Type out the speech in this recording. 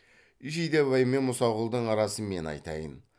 жидебай мен мұсақұлдың арасын мен айтайын